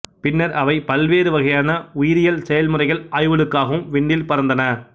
பின்னர் அவை பல்வேறு வகையான உயிரியல் செயல்முறைகள் ஆய்வுகளுக்காகவும் விண்ணில் பறந்தன